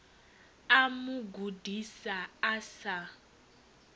u mu gudisa a sa